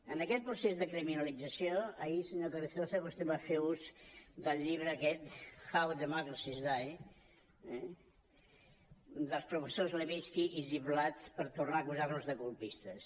en aquest procés de criminalització ahir senyor carrizosa vostè va fer ús del llibre aquest how democracies die eh dels professors levitsky i ziblatt per tor·nar a acusar·nos de colpistes